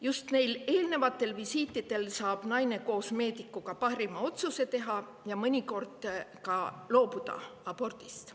Just neil eelnevatel visiitidel saab naine koos meedikuga teha parima otsuse, ja mõnikord ta loobub abordist.